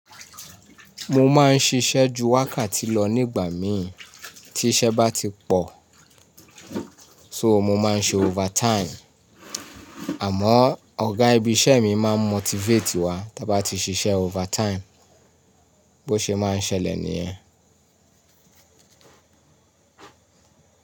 Mo máa ń ṣiṣẹ́ ju wákàtí lọ nígbà mí tí iṣẹ́ bá ti pọ̀, so mo máa ń ṣe overtime. Àmọ́ ọ̀gá ibi iṣẹ́ mi máa n motivate wa ta bá ti ṣiṣẹ́ overtime. Bó ṣe máa ń ṣẹlẹ̀ nìyẹn.